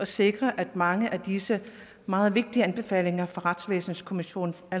sikre at mange af disse meget vigtige anbefalinger fra retsvæsenskommissionen